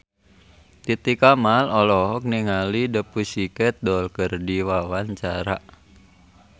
Titi Kamal olohok ningali The Pussycat Dolls keur diwawancara